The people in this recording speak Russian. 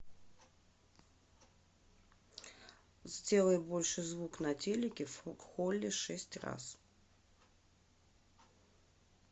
сделай больше звук на телике в холле шесть раз